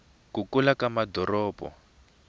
ku kula ka madoropo